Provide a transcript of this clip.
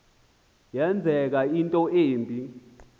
yenzeka into embi